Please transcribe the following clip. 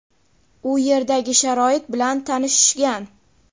u yerdagi sharoit bilan tanishishgan.